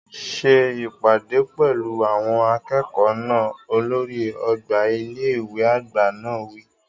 Ṣe ìpàdé pẹ̀lú àwọn akẹ́kọ̀ọ́ náà! Olórí ọgbà ilé ìwé àgbà náà wí.